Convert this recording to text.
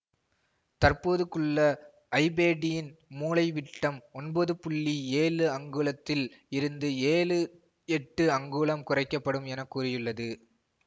தற்போதுக்குள்ள ஐபேடின் மூலைவிட்டம் ஒன்பது புள்ளி ஏழு அங்குலத்தில் இருந்து ஏழு எட்டு அங்குலம் குறைக்க படும் என கூறியுள்ளது